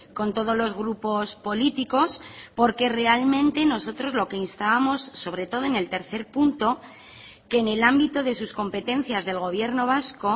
con todos los grupos políticos porque realmente nosotros lo que instábamos sobre todo en el tercer punto que en el ámbito de sus competencias del gobierno vasco